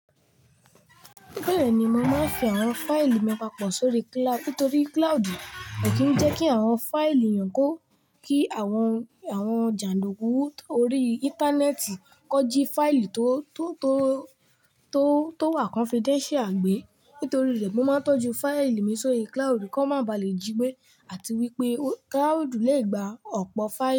Bẹ́ẹ̀ni, mo máa ń fi àwọn fáìlì mi papọ̀ sórí cloud. Nítorí cloud kò kí ń jẹ́ kí àwọn fáìlì yàn kó kí àwọn, àwọn jàndùkú tó rí íńtánẹ́ẹ̀tì kọ jí fáìlì tó, tó, tó, tó wà confidential gbé. Nítorí rẹ̀, mo máa ń tọ́jú fáìlì mi sórí cloud kki wón má bà lé jí gbé àti wípé cloud lè gba ọ̀pọ̀ fáìlì.